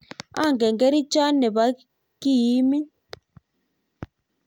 angen kerichonte ne bo kii imin.